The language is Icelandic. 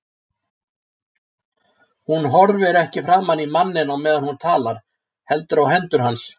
Hún horfir ekki framan í manninn á meðan hún talar heldur á hendur hans.